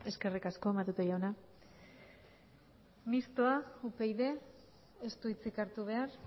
eskerrik asko matute jauna mistoa upyd ez du hitzik hartu behar